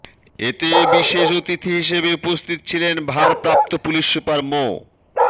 এতে বিশেষ অতিথি হিসেবে উপস্থিত ছিলেন ভারপ্রাপ্ত পুলিশ সুপার মো